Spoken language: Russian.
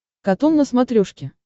катун на смотрешке